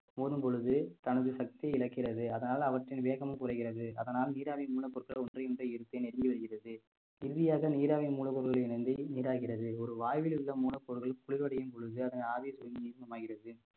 மோதும் பொழுது தனது சக்தியை இழக்கிறது அதனால் அவற்றின் வேகம் குறைகிறது அதனால் நீராவியின் மூலப்பொருட்கள் ஒன்றை ஒன்றை ஈர்த்து நெருங்கி வருகிறது இறுதியாக நீராவி மூலப்பொருளுடன் இணைந்து நீராகிறது ஒரு வாயுவில் உள்ள மூலப்பொருள்கள் குளிர்வடையும் பொழுது அதன் ஆவி சுருங்கி நீர்மமாகிறது